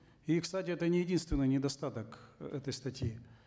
и кстати это не единственный недостаток э этой статьи